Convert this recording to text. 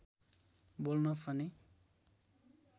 बोल्न पनि